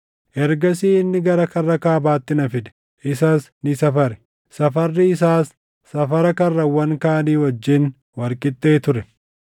Ergasii inni gara karra kaabaatti na fide; isas ni safare. Safarri isaas safara karrawwan kaanii wajjin wal qixxee ture.